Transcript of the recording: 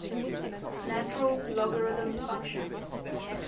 natural logarithm function